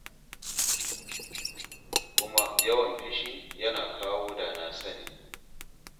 Kuma yawan fushi yana kawo da na sani.